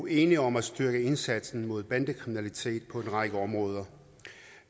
enige om at styrke indsatsen mod bandekriminalitet på en række områder